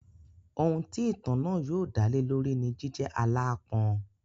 Ohun tí ìtàn náà yóò dálé lórí ni jíjẹ́ aláápọn.